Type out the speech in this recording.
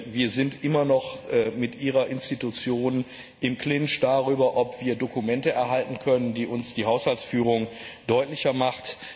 Wir sind immer noch mit Ihrer Institution im Clinch darüber, ob wir Dokumente erhalten können, die uns die Haushaltsführung deutlicher machen.